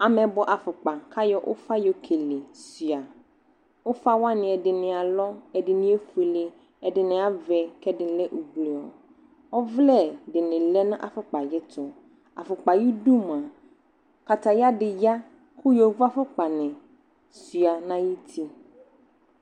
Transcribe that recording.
Amɛbɔ afokpa ka yɔ ufa yɔ kele Ufa wane ɛdene alɔ, ɛdene efuele, ɛdene acɛ lɛ ɛdene lɛ ublɔ Ɔvlɛ de ne lɛ no afoklpa ayeto Afokpa ayudu moa kataya de ya ko yovo afokpa ne sua na yiti